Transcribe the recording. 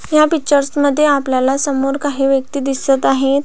ह्या पिक्चरस मध्ये आपल्याला समोर काही व्यक्ति दिसत आहेत.